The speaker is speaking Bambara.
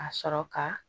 A sɔrɔ ka